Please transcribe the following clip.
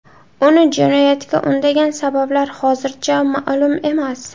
Uni jinoyatga undagan sabablar hozircha ma’lum emas.